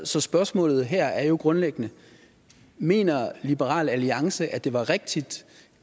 så spørgsmålet her er jo grundlæggende mener liberal alliance det var rigtigt